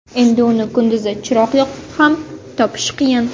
Endi uni kunduzi chiroq yoqib ham topish qiyin.